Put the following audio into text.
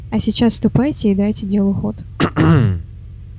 а сейчас ступайте и дайте делу ход